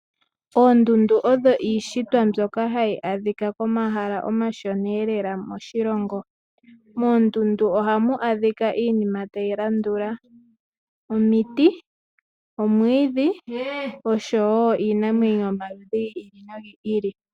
Oondundu odho iishitwa mbyoka hayi adhika pomahala omashona ee lela moshilongo. Moondundu oha mu adhika iinima tayi landula: omiti, oomwiidhi osho woo iinamwenyo yomaludhi gi ili no gi ili.